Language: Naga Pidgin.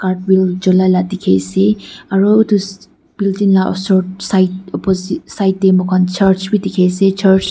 cholai la dikhiase aro edu building la osor sait opoosi side tae mokhan church bi dikhiase church .--